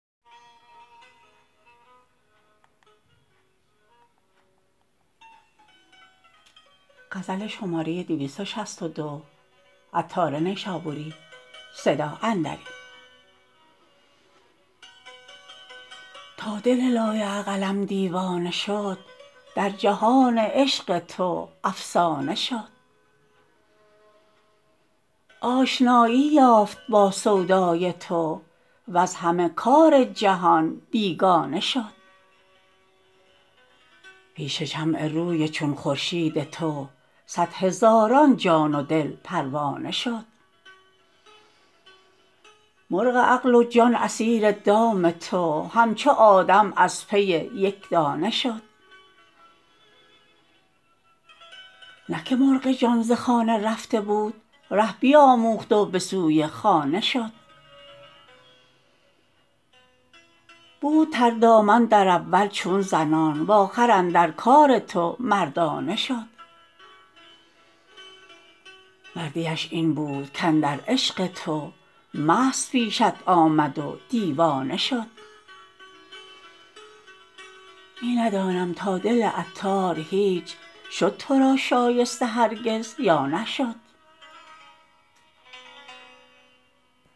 تا دل لایعقلم دیوانه شد در جهان عشق تو افسانه شد آشنایی یافت با سودای تو وز همه کار جهان بیگانه شد پیش شمع روی چون خورشید تو صد هزاران جان و دل پروانه شد مرغ عقل و جان اسیر دام تو همچو آدم از پی یک دانه شد نه که مرغ جان ز خانه رفته بود ره بیاموخت و به سوی خانه شد بود تردامن در اول چون زنان وآخر اندر کار تو مردانه شد مردیش این بود کاندر عشق تو مست پیشت آمد و دیوانه شد می ندانم تا دل عطار هیچ شد تو را شایسته هرگز یا نشد